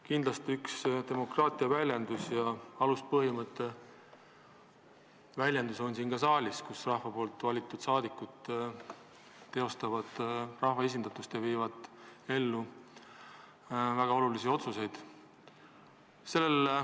Kindlasti on üks demokraatia aluspõhimõtte väljendusi ka see saal, kus rahva valitud saadikud teostavad rahva esindatust ja viivad ellu väga olulisi otsuseid.